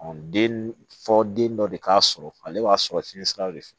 den fɔ den dɔ de k'a sɔrɔ ale b'a sɔrɔ fiɲɛ sira de fɛ